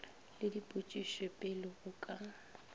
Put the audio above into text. le dipotšišo pele o ka